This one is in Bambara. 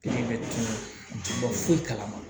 Pikiri bɛ tunun ji bɔ foyi kalama